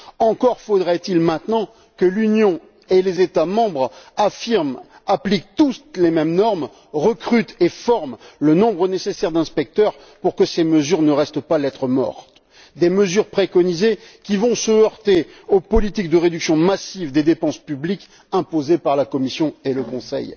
Encore faudrait il maintenant que l'Union et les États membres affirment et appliquent tous les mêmes normes, recrutent et forment le nombre nécessaire d'inspecteurs pour que ces mesures ne restent pas lettre morte des mesures préconisées qui vont se heurter aux politiques de réduction massive des dépenses publiques imposées par la Commission et le Conseil.